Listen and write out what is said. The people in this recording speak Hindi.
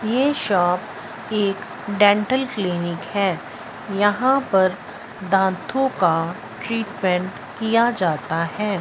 ये शॉप एक डेंटल क्लिनिक हैं यहां पर दातों का ट्रीटमेंट किया जाता हैं।